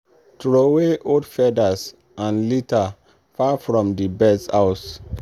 throway old feathers and litter far from the birds house.